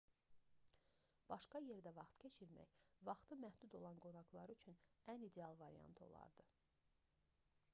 başqa yerdə vaxt keçirmək vaxtı məhdud olan qonaqlar üçün ən ideal variant olardı